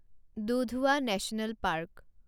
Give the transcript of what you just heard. Dudhwa national park